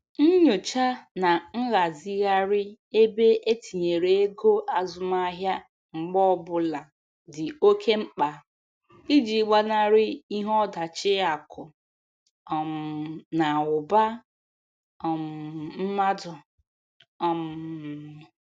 Nyocha na nghazigharị ebe etinyere ego azụmahịa mgbe ọbụla dị oke mkpa iji gbanarị ihe ọdachi akụ um na ụba um mmadụ. um